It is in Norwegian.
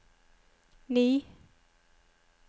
ni